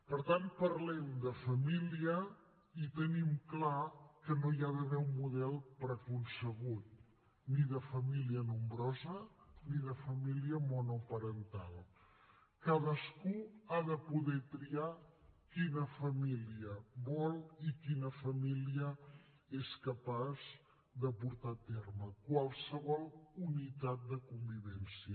per tant parlem de família i tenim clar que no hi ha d’haver un model preconcebut ni de família nombrosa ni de família monoparental cadascú ha de poder triar quina família vol i quina família és capaç de portar a terme qualsevol unitat de convivència